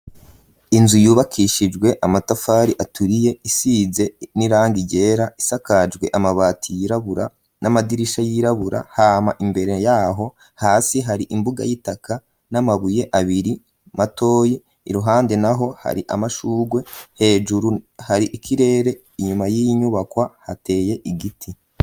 Inzu yubakishijwe amatafari aturiye ,isize n'irangi ryera, isakajwe amabati y'irabura, n'amadirisha y'irabura ,hama imbere yaho hasi hari imbuga y'itaka ,n'amabuye abiri matoyi ,iruhande naho hari amashugwe ,hejuru hari ikirere ,inyuma y'inyubakwa hateye igiti.